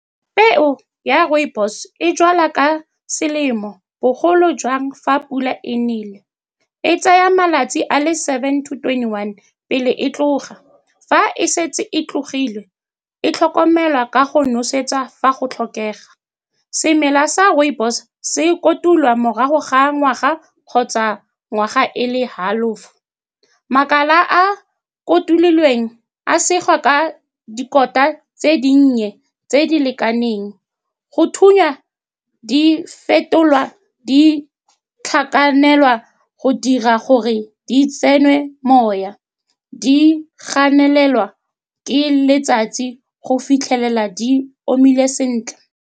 Peo ya rooibos e jalwa ka selemo, bogolo jang fa pula e nele. E tsaya malatsi a le seven to twenty one pele e tlhoga. Fa e setse e tlhogile, e tlhokomelwa ka go nosetswa fa go tlhokega. Semela sa rooibos se kotulwa morago ga ngwaga kgotsa ngwaga e le half-o. Makala a a kotululeng a segiwa ka dikota tse dinnye tse di lekaneng go thunya, di fetolwa, di tlhakanelwa go dira gore di tsenwe moya, di ganelelwa ke letsatsi go fitlhelela di omile sentle.